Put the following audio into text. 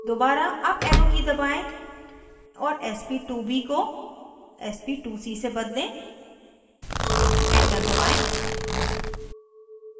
दोबारा up arrow की दबाएं और sp2b को sp2c से बदलें एंटर दबाएं